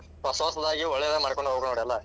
ಹೊಸ ಹೊಸದಾಗಿ ಒಳ್ಳೇದ ಮಾಡ್ಕೊಂಡ್ ಹೋಗ್ ನೋಡ್ ಎಲ್ಲಾ.